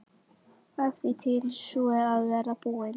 Af því tíðin sú er að verða búin.